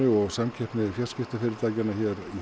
og samkeppni fjarskiptafyrirtækjanna